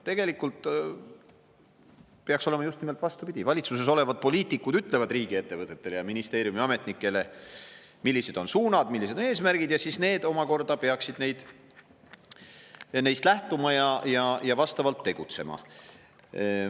Tegelikult peaks olema just nimelt vastupidi: valitsuses olevad poliitikud ütlevad riigiettevõtetele ja ministeeriumi ametnikele, millised on suunad, millised on eesmärgid, ja nemad peaksid neist lähtuma ja vastavalt tegutsema.